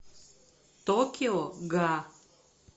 токио га